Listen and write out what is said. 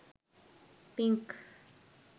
pink